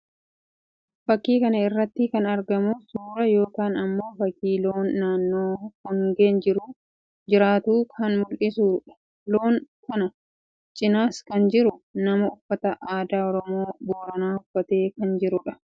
Faķkii kana irratti kan argamu suuraa yookii immoo fakkii loon naannoo hongeen jiru jiraattu kan mullisuu dha. Loon kana cinas kan jiru nama uffata aadaa Oromoo Booranaa uffatee kan jiruu dha.